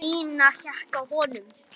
Nína hékk á honum.